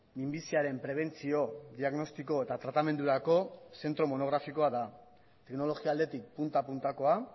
minbiziaren prebentzio diagnostiko eta tratamendurako zentro monografikoa da teknologia aldetik punta puntakoa